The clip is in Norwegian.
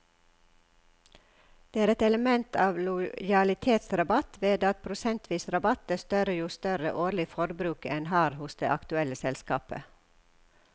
Det er et element av lojalitetsrabatt ved at prosentvis rabatt er større jo større årlig forbruk en har hos det aktuelle selskapet.